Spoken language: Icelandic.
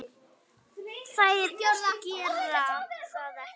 Þær gera það ekki.